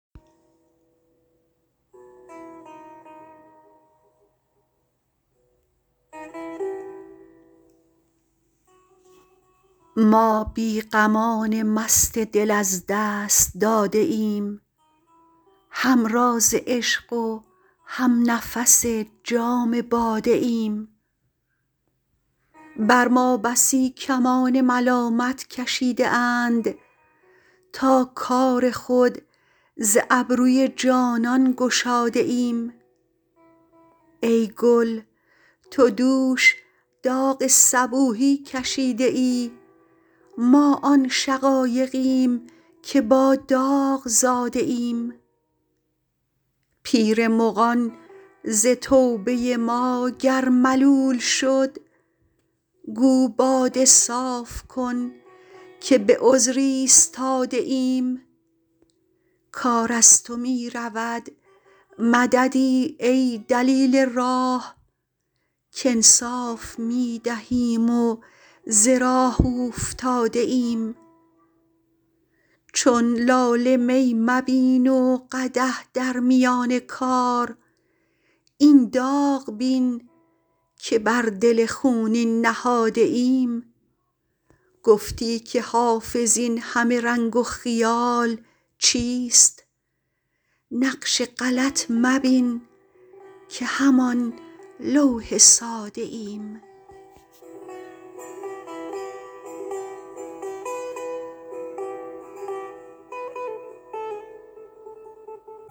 ما بی غمان مست دل از دست داده ایم هم راز عشق و هم نفس جام باده ایم بر ما بسی کمان ملامت کشیده اند تا کار خود ز ابروی جانان گشاده ایم ای گل تو دوش داغ صبوحی کشیده ای ما آن شقایقیم که با داغ زاده ایم پیر مغان ز توبه ما گر ملول شد گو باده صاف کن که به عذر ایستاده ایم کار از تو می رود مددی ای دلیل راه کانصاف می دهیم و ز راه اوفتاده ایم چون لاله می مبین و قدح در میان کار این داغ بین که بر دل خونین نهاده ایم گفتی که حافظ این همه رنگ و خیال چیست نقش غلط مبین که همان لوح ساده ایم